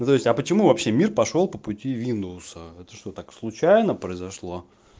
назовите а почему вообще мир пошёл по пути виндовса это что так случайно произошло